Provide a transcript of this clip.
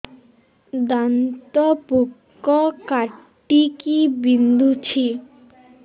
ଦାନ୍ତ ପୋକ କାଟିକି ବିନ୍ଧୁଛି